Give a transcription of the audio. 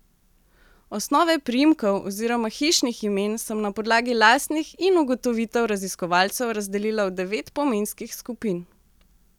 Osnove priimkov oziroma hišnih imen sem na podlagi lastnih in ugotovitev raziskovalcev razdelila v devet pomenskih skupin.